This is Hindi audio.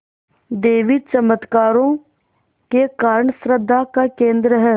देवी चमत्कारों के कारण श्रद्धा का केन्द्र है